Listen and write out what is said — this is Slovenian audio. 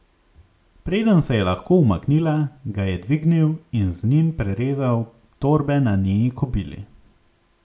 Preden se je lahko umaknila, ga je dvignil in z njim prerezal torbe na njeni kobili.